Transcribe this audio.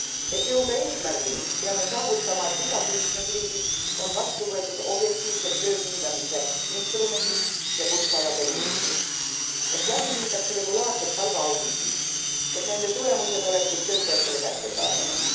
Et jõuda eesmärgini, peame saavutama, et igas liikmesriigis on vastu võetud objektiivsed töö hindamise instrumendid ja kutsealade liigitus, et viidaks läbi regulaarsed palgaauditid, et nende tulemused oleksid töötajatele kättesaadavad.